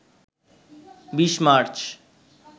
২০ March